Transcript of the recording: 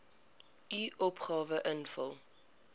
u opgawe invul